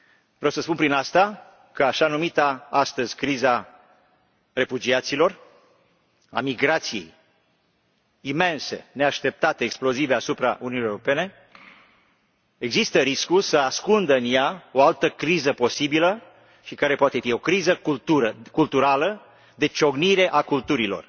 Vreau să spun prin asta că există riscul ca așa numita, astăzi, criză a refugiaților, a migrației imense, neașteptate, explozive asupra Uniunii Europene, să ascundă în ea o altă criză posibilă și care poate fi o criză culturală, de ciocnire a culturilor.